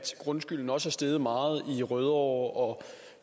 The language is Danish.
grundskylden også er steget meget i rødovre og